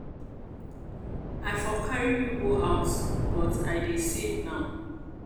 i for carry you go out but i dey save now.